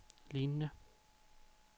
lignende